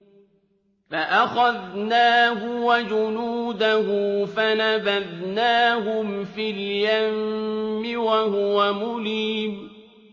فَأَخَذْنَاهُ وَجُنُودَهُ فَنَبَذْنَاهُمْ فِي الْيَمِّ وَهُوَ مُلِيمٌ